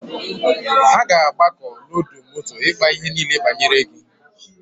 Ha ga-agbakọ n'ọdọ moto ịkpa ihe niile banyere gi.